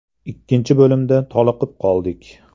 Ikkinchi bo‘limda toliqib qoldik.